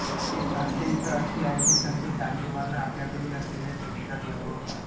एक आख्यायिका अशी आहे की संत चांगदेवांना आपल्याकडील असलेल्या शक्तीचा गर्व होता